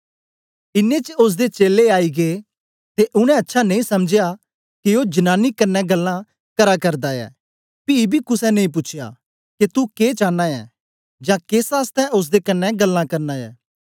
इनें च ओसदे चेलें आई गै ते उनै अच्छा नेई समझया के ओ जनानी कन्ने गल्लां करा करदा ऐ पी बी कुसे नेई पूछ्या के तू के चांना ऐ जां केस आसतै ओसदे कन्ने गल्लां करना ऐ